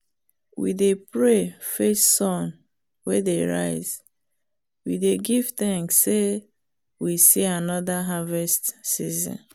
we dey pray face sun wey dey rise we dey give thanks say we see another harvest season.